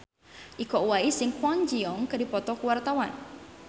Iko Uwais jeung Kwon Ji Yong keur dipoto ku wartawan